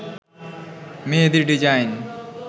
মেহেদীর design